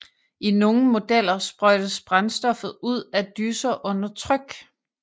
I nogle modeller sprøjtes brændstoffet ud af dyser under tryk